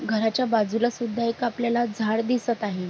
घराच्या बाजूला सुद्धा एक आपल्याला झाडं दिसत आहे.